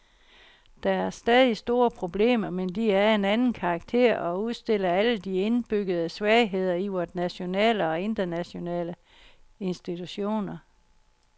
Der er stadig store problemer, men de er af en anden karakter og udstiller alle de indbyggede svagheder i vore nationale og internationale institutioner.